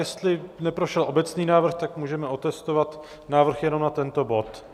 Jestli neprošel obecný návrh, tak můžeme otestovat návrh jenom na tento bod.